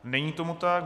Není tomu tak.